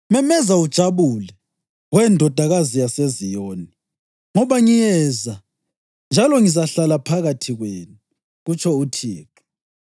Memeza ujabule, we Ndodakazi yaseZiyoni. Ngoba ngiyeza, njalo ngizahlala phakathi kwenu,” kutsho uThixo.